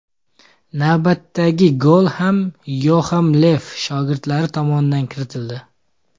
Navbatdagi gol ham Yoaxim Lev shogirdlari tomonidan kiritildi.